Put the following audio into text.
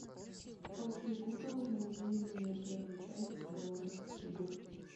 окей гугл найди мне первую часть голодных игр